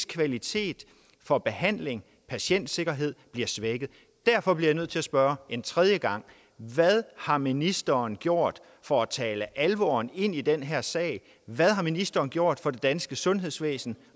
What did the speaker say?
kvaliteten af behandling og patientsikkerhed bliver svækket derfor bliver jeg nødt til at spørge en tredje gang hvad har ministeren gjort for at tale alvoren ind i den her sag hvad har ministeren gjort for det danske sundhedsvæsen